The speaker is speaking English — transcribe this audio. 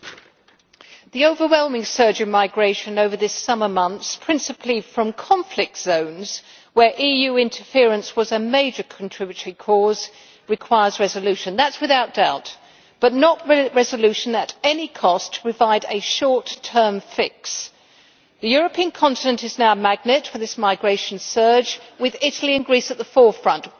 Madam President, the overwhelming surge in migration over these summer months, principally from conflict zones where EU interference was a major contributory cause, requires resolution that is without doubt but not resolution at any cost to provide a short-term fix. The European continent is now a magnet for this migration surge, with Italy and Greece at the forefront